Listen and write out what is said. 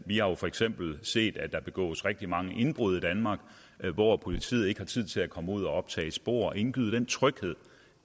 vi har jo for eksempel set at der begås rigtig mange indbrud i danmark hvor politiet ikke har tid til at komme ud og optage spor og indgyde den tryghed